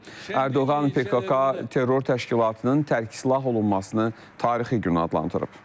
Ərdoğan PKK terror təşkilatının tərkisilah olunmasını tarixi gün adlandırıb.